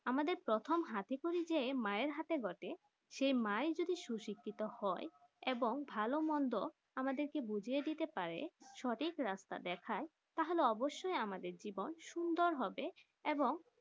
আমাদের প্রথম হাতি খড়িযে মায়ের হাতে বটে সেই মা যদি সুশিক্ষিত হয় এবং ভালো মন্দ আমাদের কে বুছিয়ে দিতে পারে সঠিক রাস্তা দেখাই তাহলে অবশ্য আমাদের জীবন সুন্দর হবে এবং